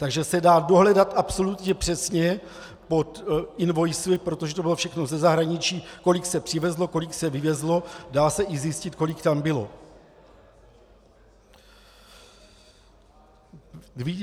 Takže se dá dohledat absolutně přesně pod invoice, protože to bylo všechno ze zahraničí, kolik se přivezlo, kolik se vyvezlo, dá se i zjistit, kolik tam bylo.